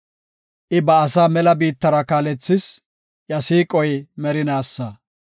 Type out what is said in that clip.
I ba asaa mela biittara kaalethis; iya siiqoy merinaasa.